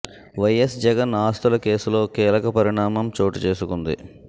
YS Jagan ఆస్తుల కేసులో కీలక పరిణామం చోటు చేసుకుంది